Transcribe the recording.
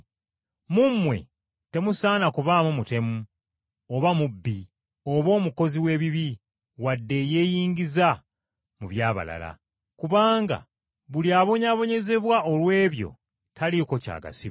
Mu mmwe temusaana kubaamu mutemu, oba mubbi, oba omukozi w’ebibi, wadde eyeeyingiza mu by’abalala. Kubanga buli abonyaabonyezebwa olw’ebyo taliiko ky’agasibwa.